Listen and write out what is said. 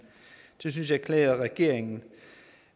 det synes jeg klæder regeringen